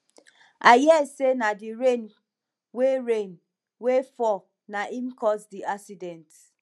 i hear say na the rain wey rain wey fall na im cause the accident